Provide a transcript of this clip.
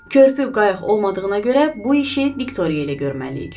Körpü qayıq olmadığına görə bu işi Viktoriya ilə görməliyik.